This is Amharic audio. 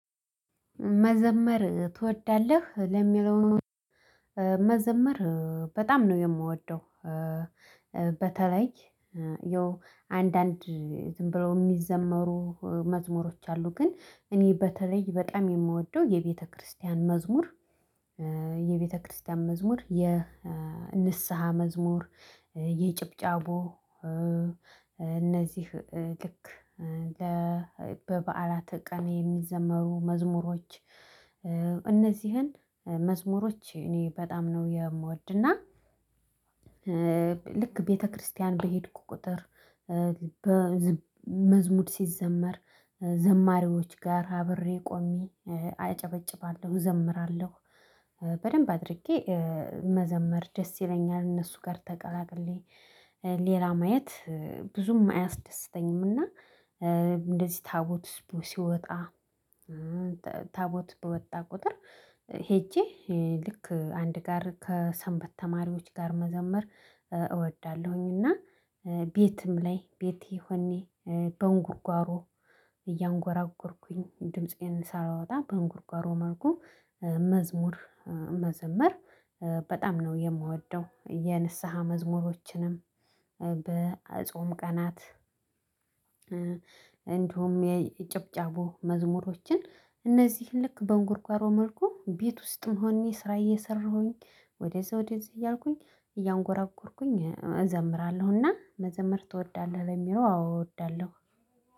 መዘመር ትወዳለህ ለሚለው? መዘመር በጣም ነው የምወደው። በተለይ ያው አንዳንድ ዝም ብለው የሚዘመሩ መዝሙሮች አሉ ግን እኔ በተለይ በጣም የምወደው የቤተክርስቲያን መዝሙር። የቤተክርስቲያን መዝሙር የንስሃ መዝሙር የጭብጫቦ እነዚህ ልክ ለ በበዓላተ ቀን የሚዘመሩ መዝሙሮች እነዚህን መዝሙሮች እኔ በጣም ነው የምወድና። ልክ ቤተክርስቲያን በሄድኩ ቁጥር መዝሙር ሲዘመር ዘማሪዎች ጋር አብሬ ቆሜ አጨበጭባለሁ እዘምራለሁ። በደንብ አድርጌ መዘመር ደስ ይለኛል እነሱ ጋር ተቀላቅየ ሌላ ማየት ብዙም አያስደስተኝምና። እንደዚህ ታቦት ሲወጣ ታቦት በወጣ ቁጥር ሄጄ ልክ አንድ ጋር ከሰንበት ተማሪዎች ጋር መዘመር እወዳለሁኝ። እና ቤትም ላይ ቤቴ ሆኜ በእንጉርጉሮ እያንጎራጎርኩኝ ድምፄን ሳላወጣ በእንጉርጉሮ መልኩ መዝሙር መዘመር በጣም ነው የምወደው። የንስሃ መዝሙሮችንም በጾም ቀናት። እንደውም የጭብጫቦ መዝሙሮችን እነዚህን ልክ በእንጎርጉሮ መልኩ ቤት ውስጥ መሆኔ ስራ እየሰራሁኝ ወደዛ ወደዛ እያልኩኝ እያንጎራጎርኩኝ እዘምራለሁና። መዘምር ትወዳለህ ለሚለው? አዎ እወዳለሁ።